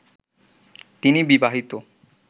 তিনি বিবাহিত